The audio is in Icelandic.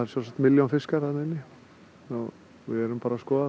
milljón fiskar þarna inni og við erum bara að skoða